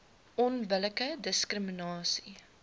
onbillike diskrimina sie